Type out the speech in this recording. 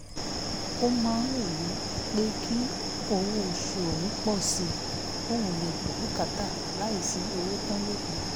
ó máa ń wù ú pé kí owó oṣù òun pọ̀ sí kóun lè gbọ́ bùkátà láìsí owó tán lókun